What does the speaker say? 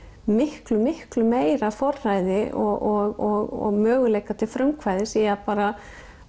miklu miklu meira forræði og möguleika til frumkvæðis í að bara